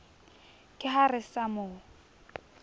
ke ha re sa mo